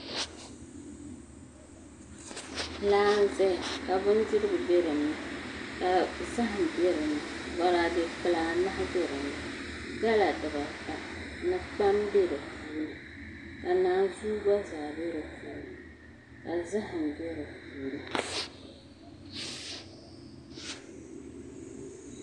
Laa n ʒɛya ka bindirigu bɛ dinni ka zaham bɛ dinni boraadɛ kpulaa anahi bɛ dinni gala dubata ni kpam bɛ di puuni ka naanzuu gba zaa bɛ di puuni ka zaham bɛ di puuni